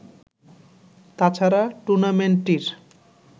তাছাড়া টুর্নামেন্টটির